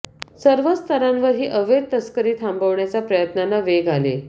सर्वच स्तरांवर ही अवैध तस्करी थांबवण्याच्या प्रयत्नांना वेग आले